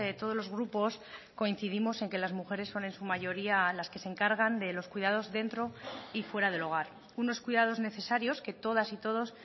todos los grupos coincidimos en que las mujeres son en su mayoría las que se encargan de los cuidados dentro y fuera del hogar unos cuidados necesarios que todas y todos